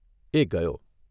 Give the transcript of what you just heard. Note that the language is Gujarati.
એ ગયો.